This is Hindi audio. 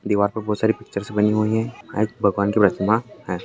दीवार पे बहुत सारी पिक्चर्स बनी हुई है शायद भगवान की प्रतिमा है।